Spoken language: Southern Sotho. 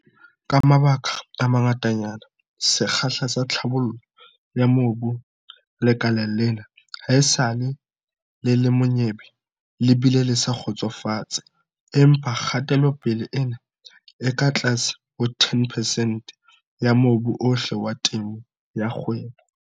Ka mabaka a mangatanyana, sekgahla sa tlhabollo ya mobu lekaleng lena haesale le le monyebe le bile le sa kgotsofatse. Empa kgatelopele ena e ka tlase ho 10 percent ya mobu ohle wa temo ya kgwebo.